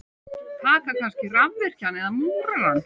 Taka kannski rafvirkjann eða múrarann.